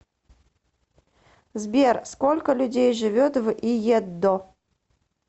сбер сколько людей живет в иеддо